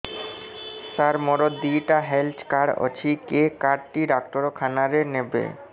ସାର ମୋର ଦିଇଟା health card ଅଛି କେ କାର୍ଡ ଟି ଡାକ୍ତରଖାନା ରେ ନେବେ